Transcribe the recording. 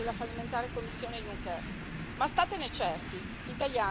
Ma statene certi, gli italiani non resteranno in silenzio!